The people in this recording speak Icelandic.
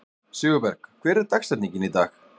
Sigurberg, hver er dagsetningin í dag?